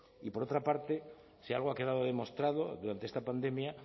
y por otra parte si algo ha quedado demostrado durante esta pandemia